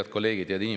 Head kolleegid!